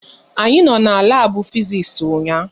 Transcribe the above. Anyị no na labu Fiziks ụnyaahụ